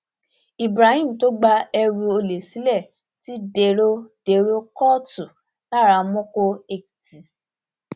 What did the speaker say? ibrahim tó gba ẹrù olè sílé ti dèrò dèrò kóòtù laramọkọ èkìtì